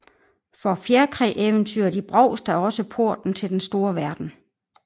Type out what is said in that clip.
For fjerkræeventyret i Brovst er også porten til den store verden